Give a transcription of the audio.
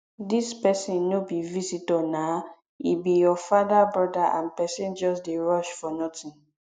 dis person no be visitor naa e be your father broda and person just dey rush for nothing